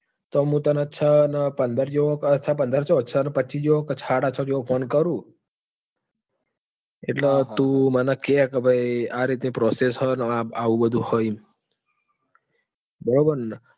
તો મુ તને છ ને પંદર જેવો આ છ ને પંદર ક્યાં છ ને પચ્ચી જેવો સાડા છ જેવો phone કરું. એટલે તું મને કે કે ભાઈ આ રીત ની process હે ને આવું બધું છે એમ. બરોબર ન?